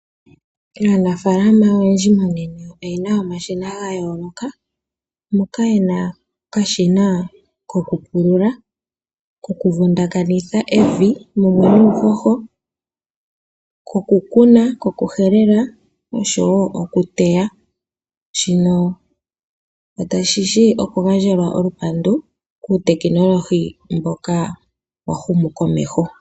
Aanafaalama oyendji monena oye na omashina ga yooloka moka ye na okashina koku pulula, koku vundakanitha evi mumwe nuuhoho, koku kuna, koku helela noshowo okuteya. Shino oshi shi okugandjelwa olupandu kuutekinolohi mboka wa humu komeho.